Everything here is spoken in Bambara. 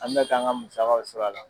An bɛ k'an ka musakaw sɔrɔ a la .